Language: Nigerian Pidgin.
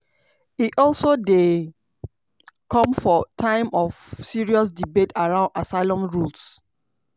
e also dey come for time of serious debate around asylum rules.